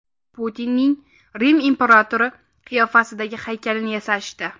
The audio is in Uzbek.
Putinning Rim imperatori qiyofasidagi haykalini yasashdi .